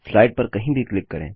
slide पर कहीं भी क्लिक करें